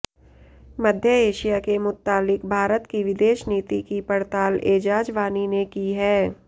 मध्य Asia के मुत्तालिक भारत की विदेश नीति की पड़ताल ऐजाज वानी ने की है